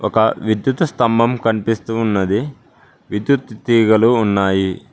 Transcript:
ఒక విద్యుత స్తంభం కనిపిస్తూ ఉన్నది విద్యుత్ తీగలు ఉన్నాయి.